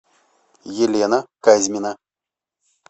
елена казьмина